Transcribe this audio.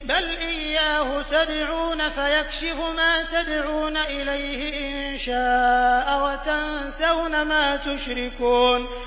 بَلْ إِيَّاهُ تَدْعُونَ فَيَكْشِفُ مَا تَدْعُونَ إِلَيْهِ إِن شَاءَ وَتَنسَوْنَ مَا تُشْرِكُونَ